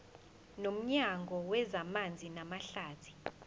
nomnyango wezamanzi namahlathi